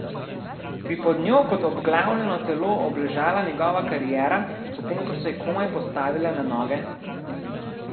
Bi pod njo kot obglavljeno telo obležala njegova kariera, potem ko se je komaj postavila na noge?